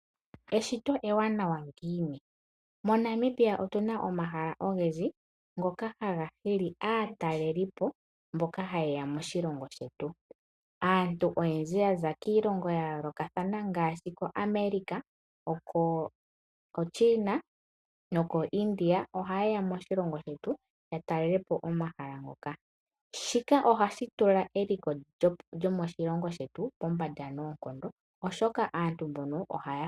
Eshito ewanawa ngiini? MoNamibia otu na mo omahala ogendji ngoka haga hili aatalelipo , mboka hayeya moshilongo shetu. Aantu oyendji yaza kiilongo yayoolokathana ngaashi koAmerika, koChina nokoIndia ohayeya moshilongo shetu yatalelepo omahala ngoka. Shika ohashi tula eliko lyoshilongo shetu pombanda.